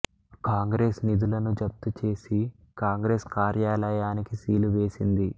కాంగ్రెస్ నిధులను జప్తు చేసి కాంగ్రెస్ కార్యాలయానికి సీలు వేసింది